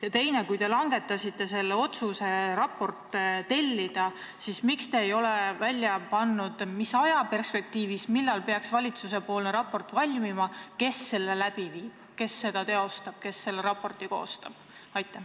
Ja teine küsimus: kui te langetasite otsuse raport tellida, siis miks te ei ole teada andnud, millal peaks see valmima, kes selle töö teostab, kes selle koostab?